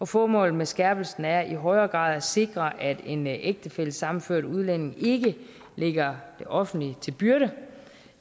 formålet med skærpelsen er i højere grad at sikre at en ægtefællesammenført udlænding ikke ligger det offentlige til byrde